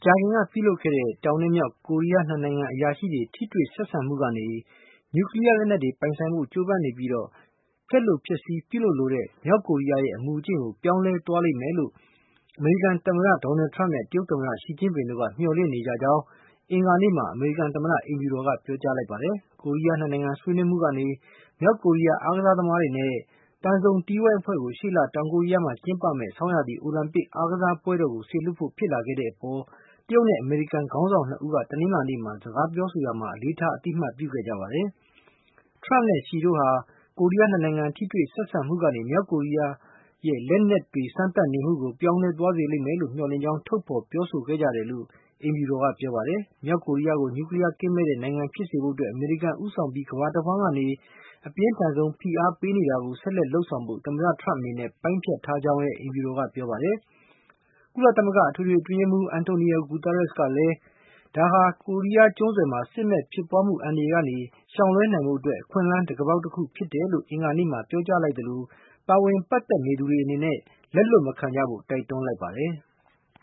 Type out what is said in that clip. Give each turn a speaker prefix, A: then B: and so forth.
A: ကြာခင်က ပြုလုပ်ခဲ့ကြတဲ့ တောင်နဲ့မြောက် ကိုရီးယား ၂ နိုင်ငံ အရာရှိတွေ ထိတွေ့ဆက်ဆံမှုကနေ နျူးကလီးယား လက်နက်တွေ ပိုင်ဆိုင်ဖို့ ကြိုးပမ်းနေပြီး ဖျက်လိုဖျက်ဆီး ပြုလုပ်လိုတဲ့ မြောက်ကိုရီးယားရဲ့ အမူအကျင့်ကို ပြောင်းလဲ သွားလိမ့်မယ်လို့ အမေရိကန် သမ္မတ ဒေါ်နယ်ထရမ့်နဲ့ တရုတ်သမ္မတ ရှီကျင့်ပင်တို့က မျှော်လင့်နေကြတယ်လို့ အင်္ဂါနေ့မှာ အမေရိကန် သမ္မတ အိမ်ဖြူတော်က ပြောကြားလိုက်ပါတယ်။ ကိုရီးယား နှစ်နိုင်ငံဆွေးမှုကနေ မြောက်ကိုရီးယား အားကစားသမားတွေနဲ့ သံစုံတီးဝိုင်းအဖွဲ့ကို ရှေ့လ တောင်ကိုရီးယားမှာ ကျင်းပမဲ့ ဆောင်းရာသီ အိုလံပစ် အားကစားပွဲတော်ကို စေလွှတ်ဖို့ ဖြစ်လာခဲ့တဲ့အပေါ် တရုတ်နဲ့ အမေရိကန် ခေါင်းဆောင် ၂ ဦး တနင်္လာနေ့ စကားပြောဆိုကြရာမှာ အလေးထား အသိအမှတ်ပြုခဲ့ကြပါတယ်။ ထရမ့်နဲ့ ရှီ တို့ဟာ ကိုရီးယား ၂ နိုင်ငံ ထိတွေ့ဆက်ဆံမှုကနေ မြောက်ကိုရီးယားရဲ့ လက်နက်တွေစမ်းသပ်နေမှုကို ပြောင်းလဲသွားစေ လိမ့်မယ်လို့ မျှော်လင့်ကြောင်း ထုတ်ဖေါ်ပြောဆိုခဲ့ကြတယ်လို့ အိမ်ဖြူတော်က ပြောပါတယ်။ မြောက်ကိုရီးယားကို နျူးကလီးယားကင်းမဲ့တဲ့ နိုင်ငံဖြစ်စေဖို့အတွက် အမေရိကန် ဦးဆောင်ပြီး ကမ္ဘာတဝှမ်းကနေ အပြင်းထန်ဆုံး ဖိအားပေးနေတာကို ဆက်လက်လုပ်ဆောင်ဖို့ သမ္မတထရမ့်အနေနဲ့ ပိုင်းဖြတ်ထားကြောင်း အိမ်ဖြူတော်က ပြောပါတယ်။ ကုလ အတွင်းရေးမှုးချုပ် Antonio Guterres ကလည်း ဒါဟာ ကိုရီးယားကျွန်းဆွယ်မှာ စစ်မက်ဖြစ်ပွားမှု အန္တရာယ်ကနေ ရှောင်လွဲနိုင်ဖို့ အခွင့်အလမ်း တံခါးပေါက် တခုဖြစ်ပါတယ်လို့ အင်္ဂါနေ့မှာ ပြောကြားလိုက်သလို၊ ပါဝင်ပတ်သက်နေသူတွေ အနေနဲ့ လက်လွှတ်မခံကြဖို့ တိုက်တွန်းလိုက်ပါတယ်။